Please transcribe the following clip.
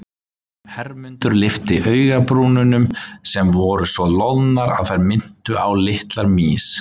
Hermundur lyfti augabrúnunum sem voru svo loðnar að þær minntu á litlar mýs.